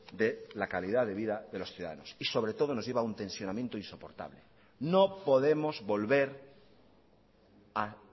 de la calidad de vida de los ciudadanos y sobre todo nos lleva a un tensionamiento insoportable no podemos volver a